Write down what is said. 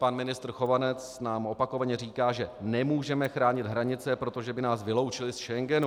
Pan ministr Chovanec nám opakovaně říká, že nemůžeme chránit hranice, protože by nás vyloučili z Schengenu.